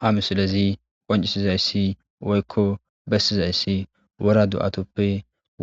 ha misilezi qoncisizayssi woykko bessizayssi wora do7atoppe